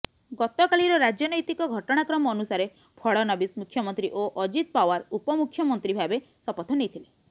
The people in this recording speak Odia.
ଗତକାଲିର ରାଜନୈତିକ ଘଟଣାକ୍ରମ ଅନୁସାରେ ଫଡନବୀସ ମୁଖ୍ୟମନ୍ତ୍ରୀ ଓ ଅଜିତ ପାୱାର ଉପମୁଖ୍ୟମନ୍ତ୍ରୀ ଭାବେ ଶପଥ ନେଇଥିଲେ